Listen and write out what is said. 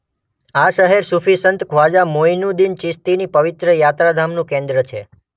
આ શહેર સુફી સંત ખ્વાજા મોઈનુદ્દીન ચિસ્તીની પવિત્ર યાત્રાધામનું કેન્દ્ર છે.